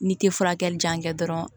N'i tɛ furakɛli jan kɛ dɔrɔn